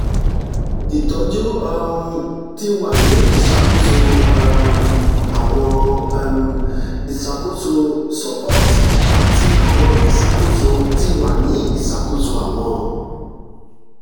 itọju um ti wa ni iṣakoso um awọn um iṣakoso support ati awọn iṣakoso ti wa ni iṣakoso awọn